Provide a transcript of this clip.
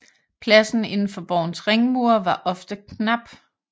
Pladsen inden for borgens ringmure var ofte knap